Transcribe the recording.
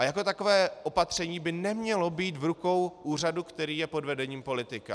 A jako takové opatření by nemělo být v rukou úřadu, který je pod vedením politika.